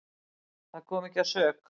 Það kom ekki að sök.